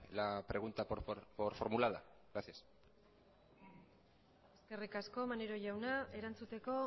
la pregunta por formulada gracias eskerrik asko maneiro jauna erantzuteko